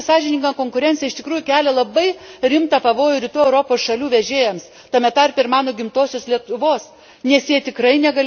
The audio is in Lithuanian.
Rinkos skaidymas ir nesąžininga konkurencija iš tikrųjų kelia labai rimtą pavojų rytų Europos šalių vežėjams, tarp jų ir mano gimtosios Lietuvos.